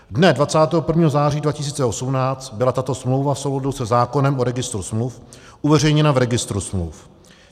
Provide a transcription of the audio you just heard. Dne 21. září 2018 byla tato smlouva v souladu se zákonem o registru smluv uveřejněna v registru smluv.